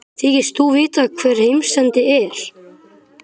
Þykist þú vita hvar heimsendi er?